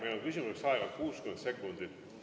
Meil on küsimiseks aega 60 sekundit.